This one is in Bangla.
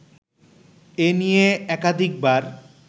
এ নিয়ে একাধিকবার